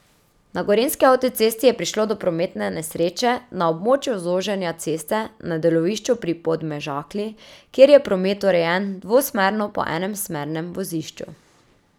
Na gorenjski avtocesti je prišlo do prometne nesreče na območju zoženja ceste na delovišču pri Podmežakli, kjer je promet urejen dvosmerno po enem smernem vozišču.